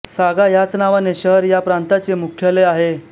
सागा ह्याच नावाचे शहर ह्या प्रांताचे मुख्यालय आहे